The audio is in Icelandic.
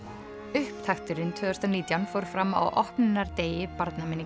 upptakturinn tvö þúsund og nítján fór fram á opnunardegi